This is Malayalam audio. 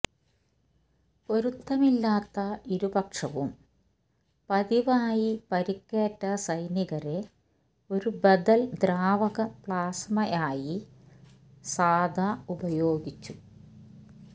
പൊരുത്തമില്ലാത്ത ഇരുപക്ഷവും പതിവായി പരിക്കേറ്റ സൈനികരെ ഒരു ബദൽ ദ്രാവക പ്ലാസ്മ ആയി സാധാ ഉപയോഗിച്ചു